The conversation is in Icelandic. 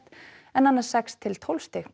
en annars sex til tólf stig